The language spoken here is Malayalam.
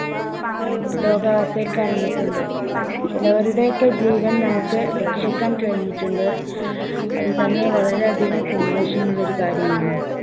രോഗാവസ്ഥയിൽ കിടന്നിട്ടുണ്ട്. ചിലരുടെയൊക്കെ ജീവൻ നമുക്ക് രക്ഷിക്കാൻ കഴിഞ്ഞിട്ടുണ്ട്. അതുതന്നെ വളരെ അധികം സന്തോഷമുള്ള ഒരു കാര്യമാണ്.